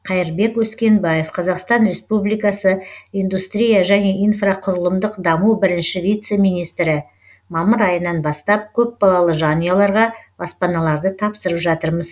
қайырбек өскенбаев қазақстан республикасы индустрия және инфрақұрылымдық даму бірінші вице министрі мамыр айынан бастап көпбалалы жанұяларға баспаналарды тапсырып жатырмыз